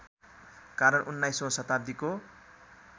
कारण उन्नाइसौँ शताब्दीको